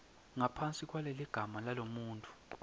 ngaphansi kwaleligama lalomuntfu